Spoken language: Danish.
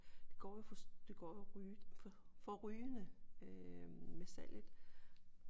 Det går jo for det går jo forrygende øh med salget